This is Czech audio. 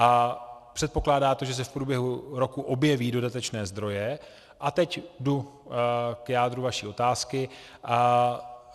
A předpokládá to, že se v průběhu roku objeví dodatečné zdroje - a teď jdu k jádru vaší otázky.